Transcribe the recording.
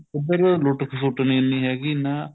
ਉੱਧਰ ਲੁੱਟ ਖਸੁੱਟ ਨੀ ਐਨੀ ਹੈਗੀ ਨਾ